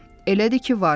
Elədir ki var.